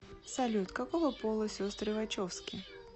салют какого пола сестры вачовски